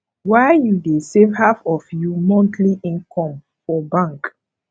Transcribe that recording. why you dey save half of you monthly income for bank